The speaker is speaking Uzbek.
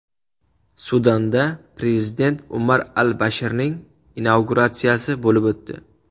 Sudanda prezident Umar al-Bashirning inauguratsiyasi bo‘lib o‘tdi.